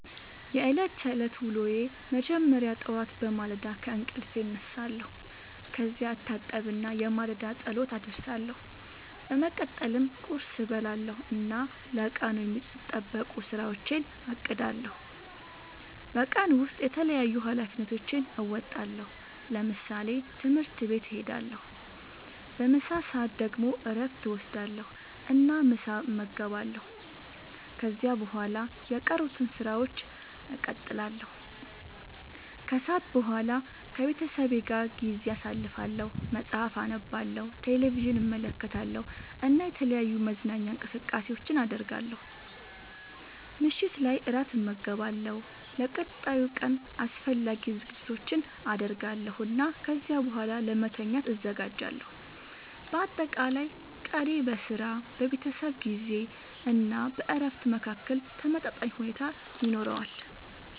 የዕለት ተዕለት ዉሎየ መጀመሪያ ጠዋት በማለዳ ከእንቅልፌ እነሳለሁ። ከዚያ እታጠብና የማለዳ ጸሎት አደርሳለሁ። በመቀጠልም ቁርስ እበላለሁ እና ለቀኑ የሚጠበቁ ሥራዎቼን አቅዳለሁ። በቀን ውስጥ የተለያዩ ኃላፊነቶቼን እወጣለሁ። ለምሳሌ፦ ትምህርት ቤት እሄዳለሁ። በምሳ ሰዓት ደግሞ እረፍት እወስዳለሁ እና ምሳ እመገባለሁ። ከዚያ በኋላ የቀሩትን ሥራዎች እቀጥላለሁ። ከሰዓት በኋላ ከቤተሰቤ ጋር ጊዜ አሳልፋለሁ፣ መጽሐፍ አነባለሁ፣ ቴሌቪዥን እመለከታለሁ እና የተለያዩ መዝናኛ እንቅስቃሴዎችን አደርጋለሁ። ምሽት ላይ እራት እመገባለሁ፣ ለቀጣዩ ቀን አስፈላጊ ዝግጅቶችን አደርጋለሁ እና ከዚያ በኋላ ለመተኛት እዘጋጃለሁ። በአጠቃላይ ቀኔ በሥራ፣ በቤተሰብ ጊዜ እና በእረፍት መካከል ተመጣጣኝ ሁኔታ ይኖረዋል።